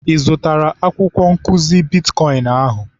Ị zụtara akwụkwọ nkụzi bitkọịn ahụ?